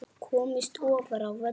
Komist ofar á völlinn?